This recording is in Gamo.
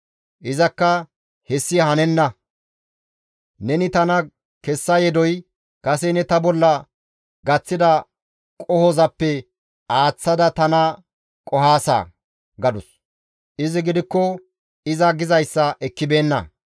Izakka, «Hessi hanenna! Neni tana kessa yedoy kase ne ta bolla gaththida qohozappe aaththada tana qohaasa!» gadus; izi gidikko iza gizayssa ekkibeenna.